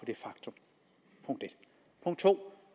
det faktum punkt 2